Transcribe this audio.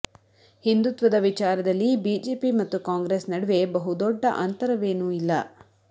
ಹಿಂದುತ್ವದ ವಿಚಾರದಲ್ಲಿ ಬಿಜೆಪಿ ಮತ್ತು ಕಾಂಗ್ರೆಸ್ ನಡುವೆ ಬಹುದೊಡ್ಡ ಅಂತರವೇನೂ ಇಲ್ಲ